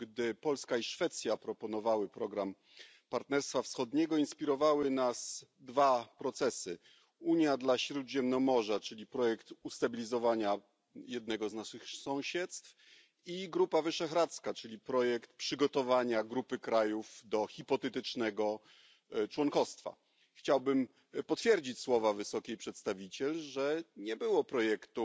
gdy Polska i Szwecja proponowały program Partnerstwa Wschodniego, inspirowały nas dwa procesy Unia dla Śródziemnomorza, czyli projekt ustabilizowania jednego z naszych sąsiedztw, i Grupa Wyszehradzka, czyli projekt przygotowania grupy krajów do hipotetycznego członkostwa. Chciałbym potwierdzić słowa Wysokiej Przedstawiciel, że nie było projektu,